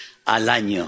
al año.